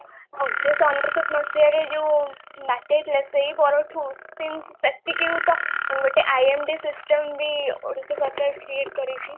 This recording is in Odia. ଉଣେଇସହ ଅନେଶତ ମସିହାରେ ଯୋଉ ବାତ୍ୟା ହେଇଥିଲା ସେଇ ପରଠୁ ସେଟିକିରୂତ ଗୋଟେ IMD system ବି ଓଡିଶା ସରକାର create କରିଛି